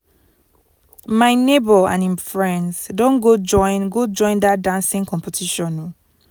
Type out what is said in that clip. my nebor and him friends don go join go join dat dancing competition o